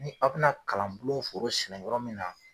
Ni a' bɛ na kalan bulon foro sɛnɛn yɔrɔ min na.